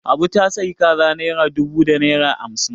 Abu ta sayi kaza naira dubu da naira hamsin